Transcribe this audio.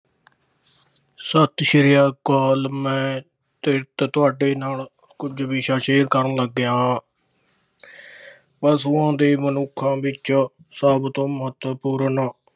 ਸਤਿ ਸ੍ਰੀ ਅਕਾਲ। ਮੈਂ ਤੁਹਾਡੇ ਨਾਲ ਕੁਛ ਵਿਸ਼ਾ share ਕਰਨ ਲੱਗਿਆ ਆ। ਪਸ਼ੂਆਂ ਤੇ ਮਨੁੱਖਾਂ ਵਿੱਚ ਸਭ ਤੋਂ ਮਹਤਵਪੂਰਨ